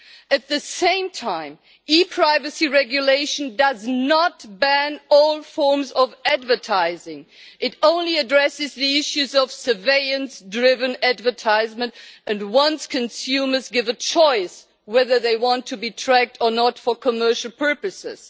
At the same time, the ePrivacy Regulation does not ban all forms of advertising. It only addresses the issues of surveillance driven advertising and wants consumers given a choice about whether they want to be tracked or not for commercial purposes.